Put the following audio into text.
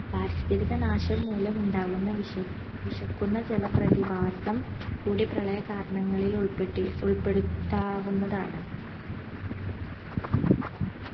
പാരിസ്ഥിതിക നാശം മൂലമുണ്ടാകുന്ന വിഷ വിശക്കുന്ന ജലപ്രതിഭാസം ഒരു പ്രളയ കാരണങ്ങളിൽ ഉൾപെട്ടി ഉൾപെടുത്താതാവുന്നതാണ്